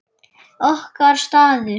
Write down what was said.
Okkar staður.